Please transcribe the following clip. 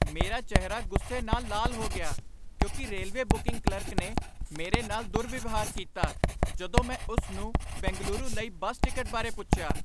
ਮੇਰਾ ਚਿਹਰਾ ਗੁੱਸੇ ਨਾਲ ਲਾਲ ਹੋ ਗਿਆ ਕਿਉਂਕਿ ਰੇਲਵੇ ਬੁਕਿੰਗ ਕਲਰਕ ਨੇ ਮੇਰੇ ਨਾਲ ਦੁਰਵਿਵਹਾਰ ਕੀਤਾ ਜਦੋਂ ਮੈ ਉਸ ਨੂੰ ਬੈਂਗਲੁਰੂ ਲਈ ਬੱਸ ਟਿਕਟ ਬਾਰੇ ਪੁੱਛਿਆ।